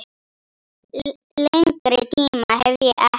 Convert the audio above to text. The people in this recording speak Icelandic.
Lengri tíma hef ég ekki.